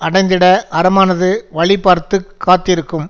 அடைந்திட அறமானது வழி பார்த்து காத்திருக்கும்